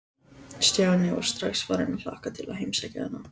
Stjáni var strax farinn að hlakka til að heimsækja hana.